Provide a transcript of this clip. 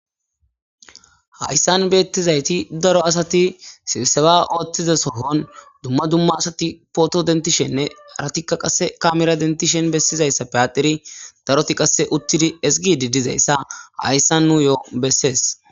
Hayssan beettizayti daro asati sibiseba ooththiza sohon dumma dumma asati pooto dentishenne aratikka qase kamera dentishen bessizayssa piyateri daroti qasse uttidi esigi di dizayssa hayssan nu yo7o bessees